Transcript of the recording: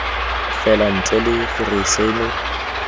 fela ntle le gore seno